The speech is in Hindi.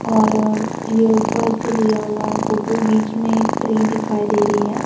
और ये ऊपर से लिया हुआ है फोटो बीच में एक ट्री दिखाई दे रही है।